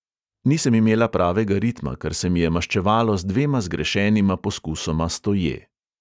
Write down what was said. Nisem imela pravega ritma, kar se mi je maščevalo z dvema zgrešenima poskusoma stoje.